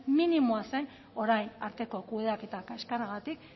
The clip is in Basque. minimoa zen orain arteko kudeaketa kaxkarragatik